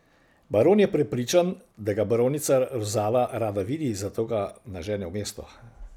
Baron je prepričan, da ga baronica Rozala rada vidi, zato ga nažene v mesto.